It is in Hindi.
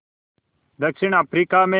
दक्षिण अफ्रीका में